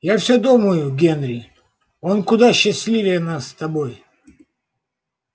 я всё думаю генри он куда счастливее нас с тобой